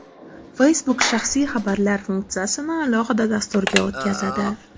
Facebook shaxsiy xabarlar funksiyasini alohida dasturga o‘tkazadi.